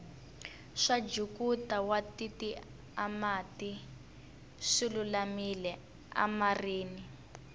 swakuja watitiamati swilulamile amirini